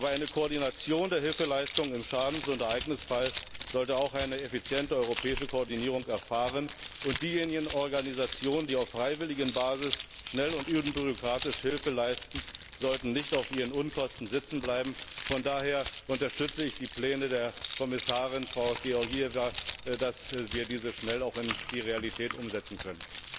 Aber eine Koordination der Hilfeleistung im Schadens und Ereignisfall sollte auch eine effiziente europäische Koordinierung erfahren, und diejenigen Organisationen, die auf freiwilliger Basis schnell und unbürokratisch Hilfe leisten, sollten nicht auf ihren Unkosten sitzenbleiben. Von daher unterstütze ich die Pläne der Kommissarin Georgieva, damit wir dies auch schnell in die Realität umsetzen können.